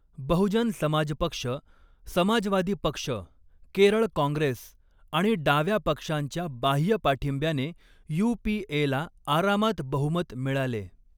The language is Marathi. बहुजन समाज पक्ष, समाजवादी पक्ष, केरळ काँग्रेस आणि डाव्या पक्षांच्या बाह्य पाठिंब्याने यू.पी.ए.ला आरामात बहुमत मिळाले.